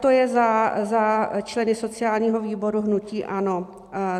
To je za členy sociálního výboru hnutí ANO.